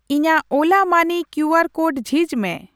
ᱤᱧᱟᱜ ᱳᱞᱟ ᱢᱟᱹᱱᱤ ᱠᱤᱭᱩᱟᱨ ᱠᱳᱰ ᱡᱷᱤᱡ ᱢᱮ ᱾